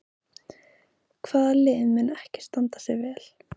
Hvaða lið mun ekki standa sig vel?